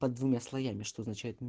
под двумя слоями что означает